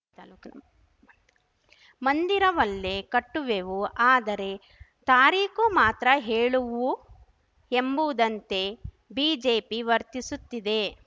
ಮಂದಿರವಲ್ಲೇ ಕಟ್ಟುವೆವು ಆದರೆ ತಾರೀಖು ಮಾತ್ರ ಹೇಳುವು ಎಂಬುವುದಂತೆ ಬಿಜೆಪಿ ವರ್ತಿಸುತ್ತಿದೆ